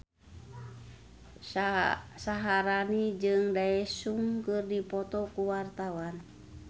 Syaharani jeung Daesung keur dipoto ku wartawan